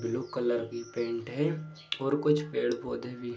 blue colour की pant है और कुछ पेड़-पौधे भी --